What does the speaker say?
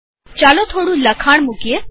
ચાલો થોડું લખાણ મુકીએ